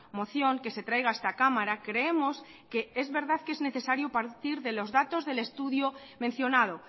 moción que se traiga a esta cámara creemos que es verdad que es necesario partir de los datos del estudio mencionado